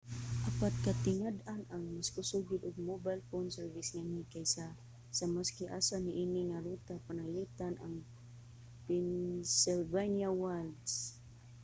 apan katingad-an nga mas kusog gyud ang mobile phone service nganhi kaysa sa maski asa niini nga ruta pananglitan ang pennsylvania wilds